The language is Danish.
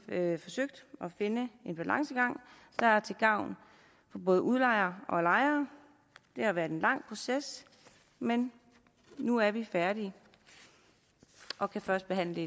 forsøgt at finde en balancegang der er til gavn for både udlejer og lejer det har været en lang proces men nu er vi færdige og kan førstebehandle